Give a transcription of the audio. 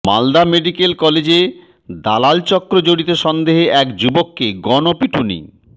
Malda medical কলেজে দালাল চক্রে জড়িত সন্দেহে এক যুবককে গণপিটুনি